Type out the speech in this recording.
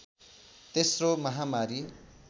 तेश्रो महामारी